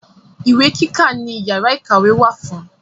Ìwé kíkà ni yàrá ìkàwé wà fún.